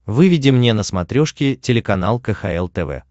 выведи мне на смотрешке телеканал кхл тв